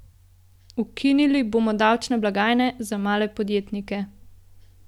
Ukinili bomo davčne blagajne za male podjetnike.